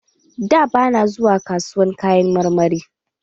Da, bana zuwa kasuwar Kayan marmari